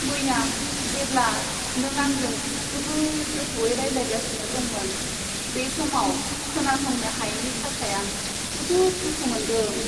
मैया जेब्ला नों आंजों जोबोद गोथौवै रायज्लायगासिनो दंमोन, बे समाव खोनासंनो हायैनि थाखाय आं जोबोद दुखु मोन्दों।